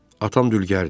Atam dülgərdir.